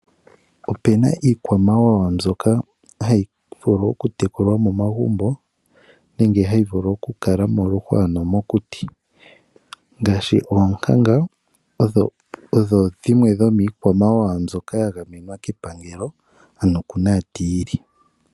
Opuna iikwamawawa mbyoka ha yi vulu okutekulwa momagumbo nenge ha yi vulu okukakala miihwa nenge momakuti ngaashi oonkanga odho iikwamawawa yimwe mbyoka ya gamewa kepangelo ano kunantiili.